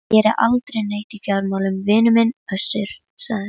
Þá fann hann til sársaukafullrar, sigrihrósandi meðaumkunar.